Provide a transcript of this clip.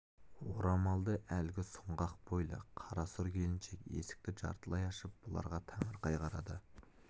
орамалды әлгі сұңғақ бойлы қара сұр келіншек есікті жартылай ашып бұларға таңырқай қарады